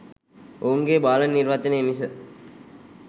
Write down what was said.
ඔවුන්ගේ බාල නිර්වචනය මිස